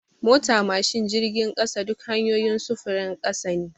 Mota, mashin da jirgin ƙasa duk hanyoyin sufurin ƙasa ne.